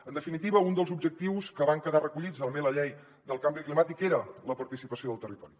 en definitiva un dels objectius que van quedar recollits també a la llei del canvi climàtic era la participació del territori